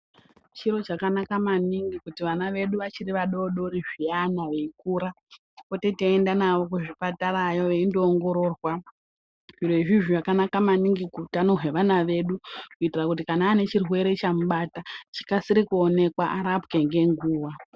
Chiro chakanaka maningi kuti vana vedu vachiri vadoodori zviyana veikura tipote teienda navo kuzvipatarayo veindoongororwa. Zvirozvi zvakanaka maningi kuutano hwevana vedu, kuitira kuti kana aanechirwere chamubata chikasire kuonekwa, arapwe ngenguva.